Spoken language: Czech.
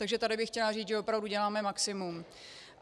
Takže tady bych chtěla říct, že opravdu děláme maximum.